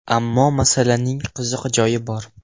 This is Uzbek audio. Ammo masalaning qiziq joyi bor.